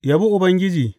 Yabi Ubangiji.